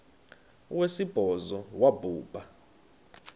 wesibhozo wabhu bha